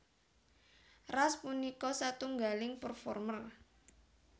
Ras punika satunggaling performer